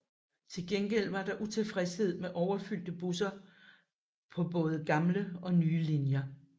Til gengæld var der utilfredshed med overfyldte busser på både gamle og nye linjer